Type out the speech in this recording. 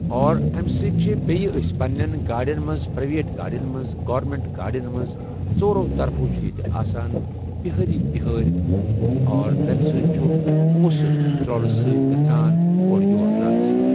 اور اَمہِ سۭتۍ چھِ بیٚیہِ أسۍ پَنٕنٮ۪ن گاڑٮ۪ن منٛز پریویٹ گاڑٮ۪ن منٛز گورمینٛٹ گاڑٮ۪ن منٛز ژورو طرفو چھ ییٚتہِ آسان ہہٲرٕے بہٲرۍ اور تَمہِ سۭتۍ چھُ پۄنٛسہٕ ترٛوٕلہٕ سۭتۍ گژھان اورٕ یور ٹرانسفر۔